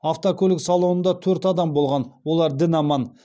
автокөлік салонында төрт адам болған олар дін аман